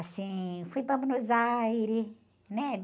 Assim, fui para Buenos Aires, né?